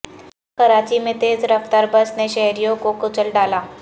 کراچی میں تیز رفتار بس نے شہریوں کو کچل ڈالا